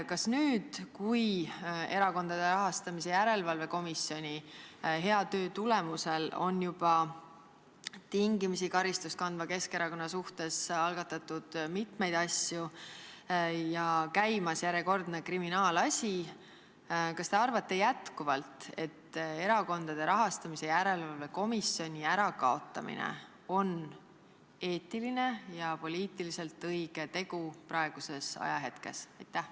Kas nüüd, kui Erakondade Rahastamise Järelevalve Komisjoni hea töö tulemusel on juba tingimisi karistust kandva Keskerakonna suhtes algatatud mitmeid asju ja käimas on järjekordne kriminaalasi, te arvate jätkuvalt, et Erakondade Rahastamise Järelevalve Komisjoni ärakaotamine on eetiline ja poliitiliselt õige tegu praeguses ajahetkes?